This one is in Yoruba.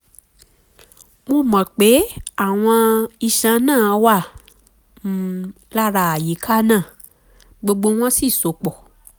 mo mọ̀ pé àwọn iṣan náà wà um lára àyíká um náà um gbogbo wọn sì so pọ̀